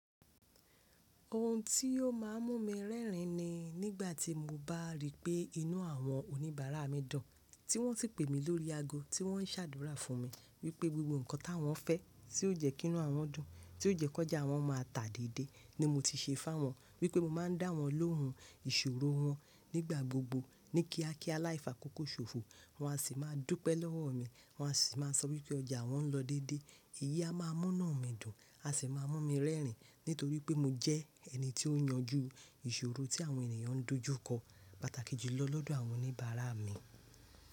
Ohun tí yóò má a mú mi rẹ́rìn ni nígbà tí mo bá rí pé inú àwọn oníbàárà mi dùn, tí wọ́n sì pè mí lórí ago, tí wọ́n ṣàdúrà fún mi wípé gbogbo ǹkan táwọn fẹ́, tí ó jẹ́ kí inú àwọn dùn, tí ó jẹ́ kójà wọ́n má a tà dédé ni mo ti ṣe fáwọn, wípé mo má a ń dáwọn lóhun ìṣòro wọn nígbà gbogbo ní kíákíá láìfa kókóṣòfò, wọ́n á sì má a dúpẹ́ lọ́wọ́ mi, wọ́n á sì má a sọ wípé ọjà wọ́n ń lọ dédé, èyí á má a mú iná mi dùn, á sì má a mú mi rẹ́rìn nítorí pé mo jẹ́ ẹni tí ó ń yanjú ìṣòro tí àwọn ènìyàn ń dojú kọ, pàtàkì jùlọ lọ́dọ̀ àwọn oníbàárà mi.